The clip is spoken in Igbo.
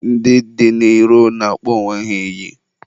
ndị dị n'iro na-akpọ onwe ha iyi.